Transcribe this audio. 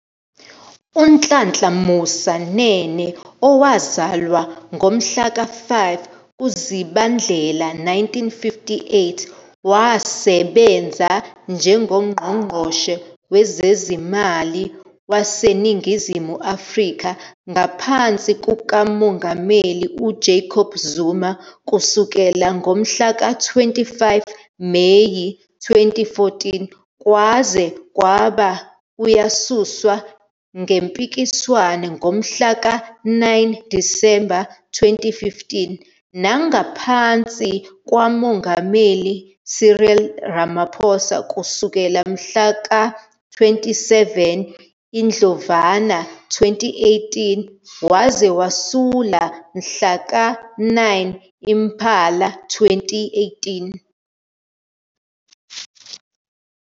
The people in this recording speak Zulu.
UNhlanhla Musa Nene, owazalwa ngomhlaka 5 kuZibandlela 1958, wasebenza njengoNgqongqoshe Wezezimali waseNingizimu Afrika ngaphansi kukaMongameli uJacob Zuma kusukela ngomhlaka 25 Meyi 2014 kwaze kwaba uyasuswa ngempikiswano ngomhlaka 9 Disemba 2015,nangaphansi Mengameli Cyril Ramaphosa kusukela mhla tinge-27 Indlovana 2018 waze wasula mhla tisi-9 Imphala 2018.